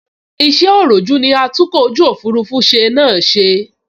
Iṣẹ́ òròjú ní atúnkọ̀ ojú òfurufú ṣe náà ṣe